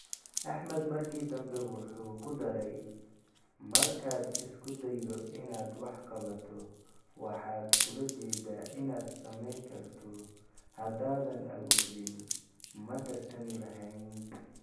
Axmad markii dambe wuxuu ku daray: Markaad isku daydo inaad wax qabato, waxaad ula jeeddaa inaad samayn karto haddaanan awoodin, ma tartami lahayn.